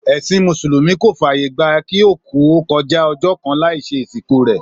Èsìn Mùsùlùmí kò fàyè gbà kí òkú ó kojá ojó kan láì se ìsìnkú rè